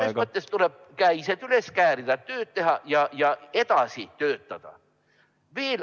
Selles mõttes tuleb käised üles käärida, tööd teha ja edasi töötada.